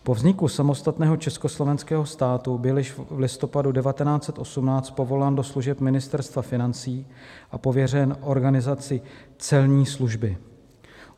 Po vzniku samostatného československého státu byl již v listopadu 1918 povolán do služeb Ministerstva financí a pověřen organizací celní služby.